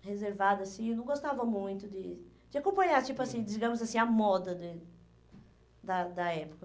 reservada, assim, eu não gostava muito de de acompanhar tipo assim, digamos assim, a moda do da da época.